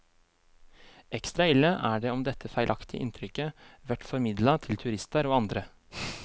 Ekstra ille er det om dette feilaktige inntrykket vert formidla til turistar og andre.